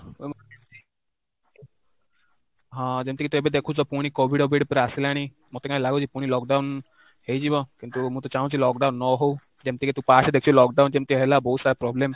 ହଁ, ଯେମିତି ତ ଏବେ ଦେଖୁଛ ପୁଣି COVID ପୁରା ଆସିଲାଣି, ମତେ କାହିଁ ଲାଗୁଛି ପୁଣି lockdown ହେଇଯିବ, କିନ୍ତୁ ମୁଁ ତ ଚାଁହୁଛି lockdown ନ ହଉ, ଯେମିତି କି ତୁ past ରେ ଦେଖିଛୁ lockdown ଯେମିତି ହେଲା ବହୁତ ସାରା problem